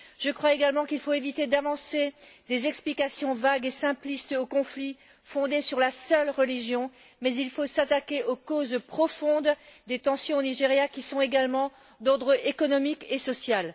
Je crois aussi qu'il faut éviter d'avancer des explications vagues et simplistes au conflit, fondées sur la seule religion, mais qu'il faut s'attaquer aux causes profondes des tensions au Nigeria qui sont également d'ordre économique et social.